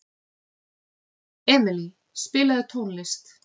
Emilý, spilaðu tónlist.